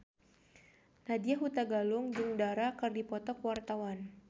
Nadya Hutagalung jeung Dara keur dipoto ku wartawan